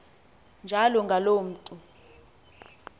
njalo ngaloo mntu